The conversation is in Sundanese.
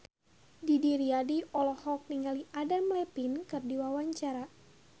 Didi Riyadi olohok ningali Adam Levine keur diwawancara